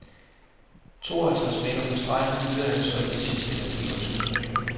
To og halvtreds meter fra stregen fyrede han så de sidste energiressourcer af.